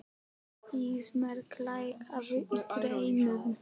Ísmey, lækkaðu í græjunum.